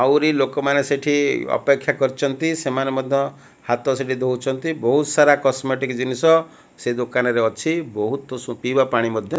ଆହୁରି ଲୋକମାନେ ସେଠି ଅପେକ୍ଷା କରିଛନ୍ତି ସେମାନେ ମଧ୍ଯ ହାତ ସେଠି ଧଉଛନ୍ତି ବହୁତ ସାର କସମେଟିକ ଜିନିଷ ସେ ଦୋକାନରେ ଅଛି ବହୁତ ପିବା ପାଣି ମଧ୍ଯ --